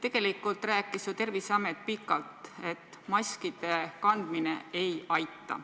Tegelikult rääkis Terviseamet ju pikalt, et maskide kandmine ei aita.